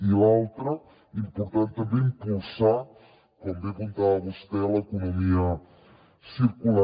i l’altra important també impulsar com bé apuntava vostè l’economia circular